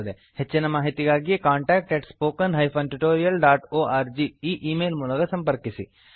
ಹೆಚ್ಚಿನ ಮಾಹಿತಿಗಾಗಿ contactspoken tutorialorg ಈ ಈ ಮೇಲ್ ಮೂಲಕ ಸಂಪರ್ಕಿಸಿ